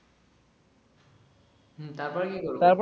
হুম তারপরে কী করবো?